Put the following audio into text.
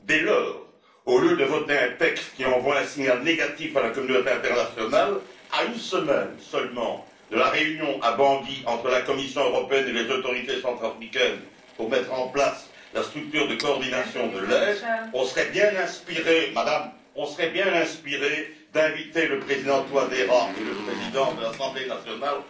Dès lors, au lieu de voter un texte qui envoie un signal négatif à la communauté internationale à une semaine seulement de la réunion à Bangui entre la Commission européenne et les autorités centrafricaines pour mettre en place la structure de coordination de l'aide, nous serions bien inspirés d'inviter le président Touadéra et le président de l'assemblée nationale,